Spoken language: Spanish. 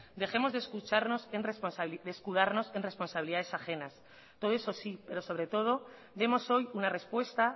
dejemos de escudarnos en responsabilidades ajenas todo eso sí pero sobre todo demos hoy una respuesta